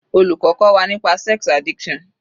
Olùkọ́ kọ́ wa nípa sex addiction